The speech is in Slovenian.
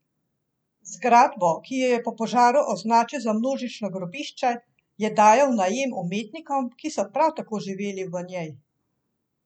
Zgradbo, ki jo je po požaru označil za množično grobišče, je dajal v najem umetnikom, ki so prav tako živeli v njej.